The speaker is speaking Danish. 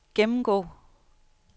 gennemgå